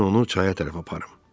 Mən onu çaya tərəf aparım.